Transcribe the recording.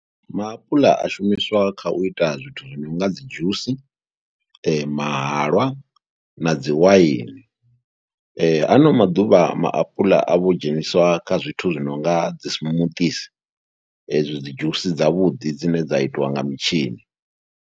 Maapuḽa a shumiswa kha u ita zwithu zwi no nga dzi dzhusi, mahalwa na dzi waini. Ha ano maḓuvha maapuḽa a vho dzheniswa kha zwithu zwi no nga dzi smoothies, ezwi dzi dzhusi dzavhuḓi dzine dza itiwa nga mutshini.